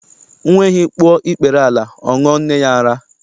Nwa ehi kpuo ikpere ala, ọ ṅụọ nne ya ara.